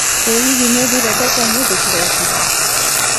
ĩ hihi nĩũthire thoko ũmũthĩ kĩroko?